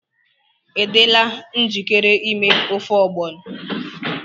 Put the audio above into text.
Ị dịla njikere ime ofe ogbono?